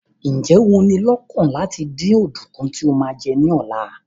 Ǹjẹ́ o ní i lọ́kàn láti dín ọ̀dùnkún tí o máa jẹ ní ọ̀la?